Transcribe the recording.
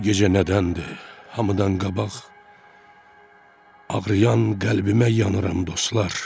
Bu gecə nədəndir hamıdan qabaq ağrıyan qəlbimə yanıram dostlar.